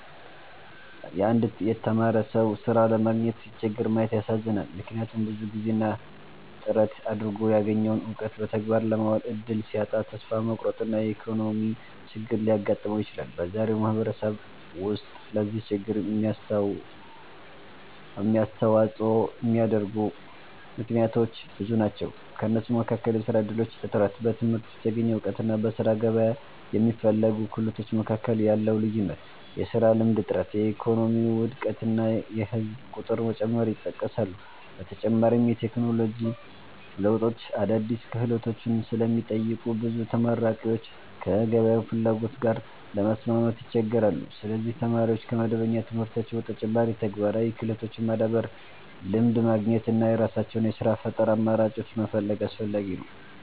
አንድ የተማረ ሰው ሥራ ለማግኘት ሲቸገር ማየት ያሳዝናል፤ ምክንያቱም ብዙ ጊዜና ጥረት አድርጎ ያገኘውን እውቀት በተግባር ለማዋል እድል ሲያጣ ተስፋ መቁረጥና የኢኮኖሚ ችግር ሊያጋጥመው ይችላል። በዛሬው ማህበረሰብ ውስጥ ለዚህ ችግር የሚያስተዋጽኦ የሚያደርጉ ምክንያቶች ብዙ ናቸው። ከእነሱም መካከል የሥራ እድሎች እጥረት፣ በትምህርት የተገኘ እውቀትና በሥራ ገበያ የሚፈለጉ ክህሎቶች መካከል ያለው ልዩነት፣ የሥራ ልምድ እጥረት፣ የኢኮኖሚ ውድቀት እና የህዝብ ቁጥር መጨመር ይጠቀሳሉ። በተጨማሪም የቴክኖሎጂ ለውጦች አዳዲስ ክህሎቶችን ስለሚጠይቁ ብዙ ተመራቂዎች ከገበያው ፍላጎት ጋር ለመስማማት ይቸገራሉ። ስለዚህ ተማሪዎች ከመደበኛ ትምህርታቸው በተጨማሪ ተግባራዊ ክህሎቶችን ማዳበር፣ ልምድ ማግኘት እና የራሳቸውን የሥራ ፈጠራ አማራጮች መፈለግ አስፈላጊ ነው።